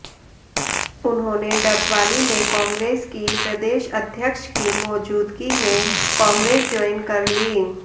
उन्होंने डबवाली में कांग्रेस की प्रदेश अध्यक्ष की मौजूदगी में कांग्रेस जॉइन कर ली